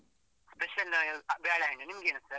Special ಬಾಳೆಹಣ್ಣು, ನಿಮ್ಗೇನು sir ?